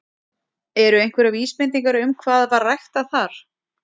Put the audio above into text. Eru einhverjar vísbendingar um hvað var ræktað þar?